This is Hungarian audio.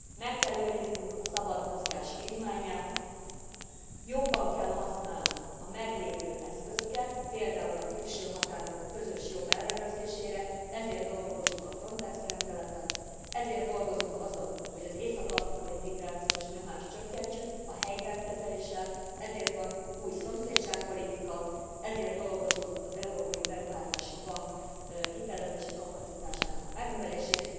Meg kell őriznünk a szabad mozgás vívmányát, jobban kell használnunk a meglévő eszközöket, például a külső határok közös jobb ellenőrzésére. Ezért dolgozunk a Frontex rendeleten, ezért dolgozunk azon, hogy az észak afrikai migrációs nyomást csökkentsük a helyben kezeléssel, ezért van új szomszédságpolitika, ezért dolgozunk az Európai Beruházási Bank hitelezési kapacitásának a megnövelésén.